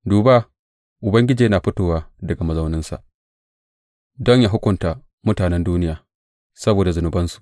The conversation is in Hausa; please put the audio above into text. Duba, Ubangiji yana fitowa daga mazauninsa don yă hukunta mutanen duniya saboda zunubansu.